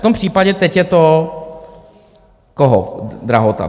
V tom případě teď je to koho drahota?